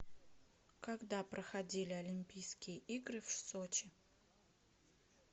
когда проходили олимпийские игры в сочи